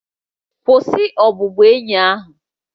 Kwụsị ọbụbụenyi ahụ!